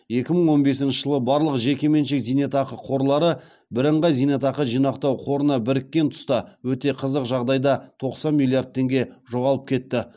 екі мың он бесінші жылы барлық жекеменшік зейнетақы қорлары бірынғай зейнетақы жинақтау қорына біріккен тұста өте қызық жағдайда тоқсан миллиард теңге жоғалып кетті